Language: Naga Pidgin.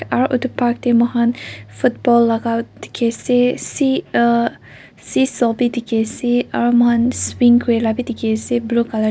aro etu park tey moi khan football la ka dikey ase see ah seesaw b dikey ase aro moi khan swing kuri la ka b dikey ase blue colour .